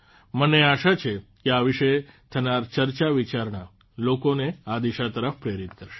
મને આશા છે કે આ વિશે થનાર ચર્ચાવિચારણા લોકોને આ દિશા તરફ પ્રેરિત કરશે